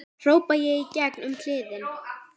hrópa ég í gegn um kliðinn.